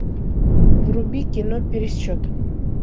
вруби кино пересчет